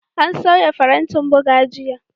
An sauya farantin buga jiya.